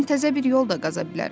Mən təzə bir yol da qaza bilərəm.